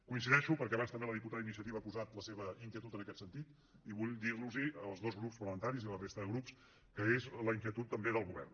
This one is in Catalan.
coincideixo perquè abans també la diputada d’iniciativa ha posat la seva inquietud en aquest sentit i vull dir a tots dos grups parlamentaris i a la resta de grups que és la inquietud també del govern